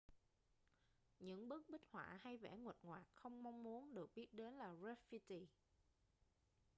những bức bích họa hay vẽ nguệch ngoạc không mong muốn được biết đến là grafiti